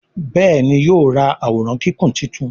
Béèni yóò rá Àwòrán Kíkún títún.